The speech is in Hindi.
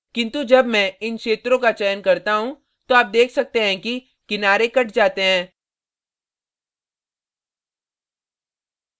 किन्तु जब मैं इन क्षेत्रों का चयन करता हूँ तो आप देख सकते हैं कि किनारे cut जाते हैं